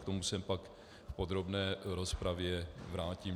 K tomu se pak v podrobné rozpravě vrátím.